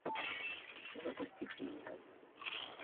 запусти клиника